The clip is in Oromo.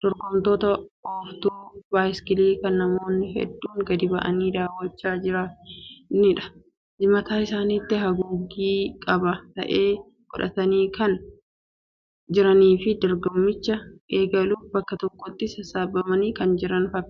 dorgomtoota ooftuu 'bicycle' kan namoonni hedduun gadi ba'anii daawwachaa jiranidha. Mataa isaaniitti haguuggii jabaa ta'e godhatanii kan jiranii fi dorgommicha eegaluuf bakka tokkotti sassaabamanii kan jiran fakkaatu.